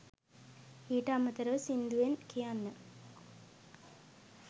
ඊට අමතරව සිංදුවෙන් කියන්න